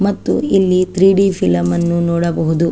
ಮತ್ತು ಇಲ್ಲಿ three D film ನ್ನು ನೋಡಬಹುದು.